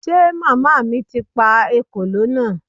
Ṣe màmá mi ti pa ekòló náà?